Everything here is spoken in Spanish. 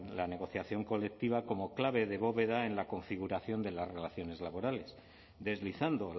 la negociación colectiva como clave de bóveda en la configuración de las relaciones laborales deslizando